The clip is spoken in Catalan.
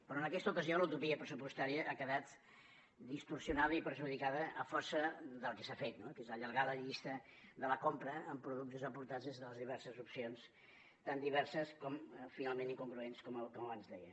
però en aquesta ocasió la utopia pressupostària ha quedat distorsionada i perjudicada a força del que s’ha fet no que és allargar la llista de la compra amb productes aportats des de les diverses opcions tan diverses com finalment incongruents com abans deia